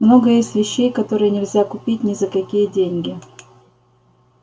много есть вещей которые нельзя купить ни за какие деньги